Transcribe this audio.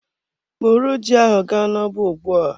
Bụrụ ji ahụ ga n'ọba ugbua!